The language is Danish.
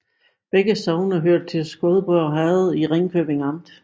Begge sogne hørte til Skodborg Herred i Ringkøbing Amt